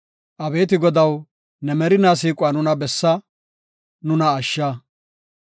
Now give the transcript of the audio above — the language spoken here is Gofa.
Abeeti Godaw, ne merina siiquwa nuna bessa; nuna ashsha.